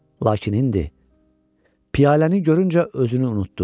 Lakin indi piyaləni görüncə özünü unutdu.